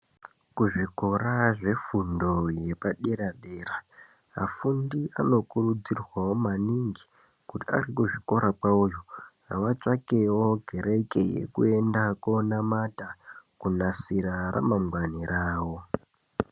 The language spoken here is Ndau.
Kuzvikora zvefundo yepadera dera afundi anokurudzirwawo maningi kuti arikuzvikora kwavoyo ngavatsvakewo kereke yekuenda konamata kunasira ramangwani ravo.